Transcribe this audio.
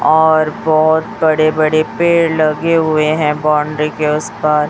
और बहुत बड़े बड़े पेड़ लगे हुए हैं बाउंड्री के उस पार।